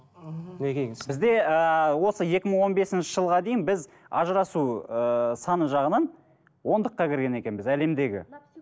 мхм мінекейіңіз бізде ыыы осы екі мың он бесінші жылға дейін біз ажырасу ыыы саны жағынан ондыққа кірген екенбіз әлемдегі